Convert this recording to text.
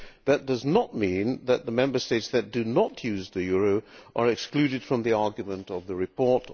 That does mean that the Member States that do not use the euro are excluded from the argument of the report.